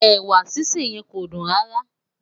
ẹwà sise yen kọ dun rárá